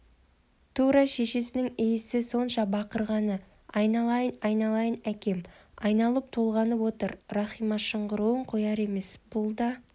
тура шешесінің иісі сонша бақырғаны айналайын айналайын әкем айналып-толғанып отыр рахима шыңғыруын қояр емес бұл да